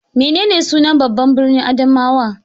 Menene sunan babban birnin Adamawa?